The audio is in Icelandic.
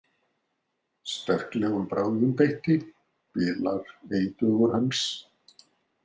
Sterklegum brögðum beitti bilar ei dugur hans.